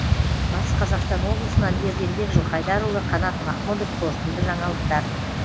батыс қазақстан облысынан ерденбек жылқайдарұлы қанат махмұдов қорытынды жаңалықтар